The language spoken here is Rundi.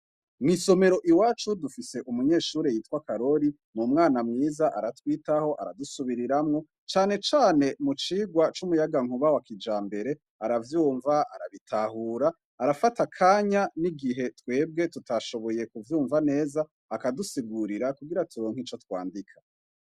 Mw'isomero iwacu dufise umunyeshuri yitwa Karori. N'umwana mwiza aratwitaho, aradusubiriramwo, canecane mu cigwa c'umuyagankuba wa kijambere. Aravyumva, arabitahura, arafata akanya n'igihe, twebwe tutashoboye kuvyumva neza, akadusigurira kugira turonke ico twandika.